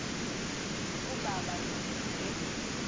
ukuba abalumke nje